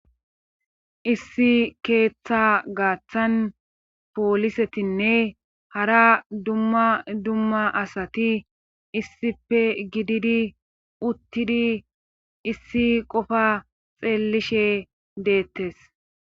Issi keeththa gaaththan poolisetinne hara dumma dumma asati issipe gididi uttidi issi qofa xeellishe deettes.